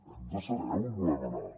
hem de saber on volem anar